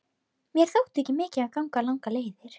Mér þótti ekki mikið að ganga langar leiðir.